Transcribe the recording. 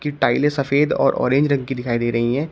टाइले सफेद और ऑरेंज रंग की दिखाई दे रही हैं।